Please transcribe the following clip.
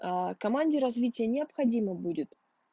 а команди развития необходимо будет